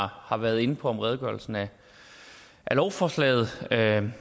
har været inde på om redegørelsen af lovforslaget